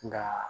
Nka